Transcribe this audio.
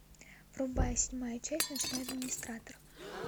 врубай седьмая часть ночной администратор